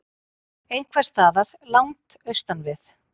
Einhversstaðar langt austan við